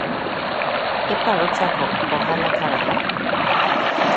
Iparo chako ohala karang'o?